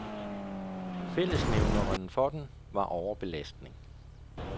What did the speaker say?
Fællesnævneren for dem var overbelastning.